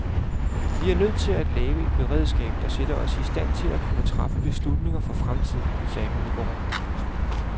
Vi er nødt til at lave et beredskab, der sætter os i stand til at kunne træffe beslutninger for fremtiden, sagde hun i går.